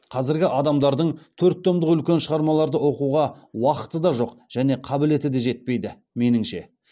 қазіргі адамдардың төрт томдық үлкен шығармаларды оқуға уақыты да жоқ және қабілеті де жетпейді меніңше